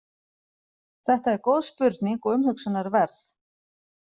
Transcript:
Þetta er góð spurning og umhugsunarverð.